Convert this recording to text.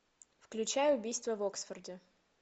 включай убийство в оксфорде